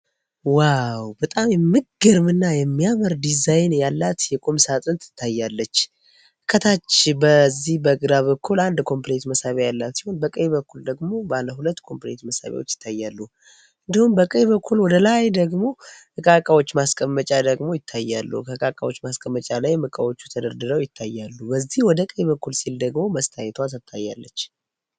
ዋው በጣም የምግርም እና የሚያመር ዲዛይን ያላት የቁም ሳጥን ትታያለች። ከታች በዚህ በግራ በኩል አንድ ኮምፕሬት መሳቢያ ያላት ሲሆን በቀይ በኩል ደግሞ ባለ ሁለት ኮምፕሬት መሳቢያዎች ይታያሉ። እንዲሁም በቀይ በኩል ወደ ላይ ደግሞ እቃቃዎች ማስቀመጫ ደግሞ ይታያሉ ።ከሕቃቃዎች ማስቀመጫ ላይ ምቃዎቹ ተደርድረው ይታያሉ። በዚህ ወደ ቀይበኩል ሲል ደግሞ መስታየቷ ተታያለች።